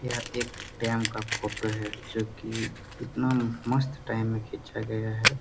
यह एक डैम का फोटो है जो कि इतना मस्त टाइम में खींचा गया है।